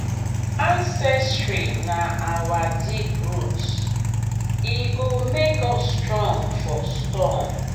ancestry na our deep root e go make us strong for storm.